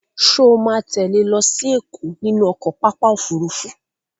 Ṣo ma tẹ́lẹ̀ lọ sí Ẹ̀kọ́ nínú pápá ọkọ̀ Òfurufú?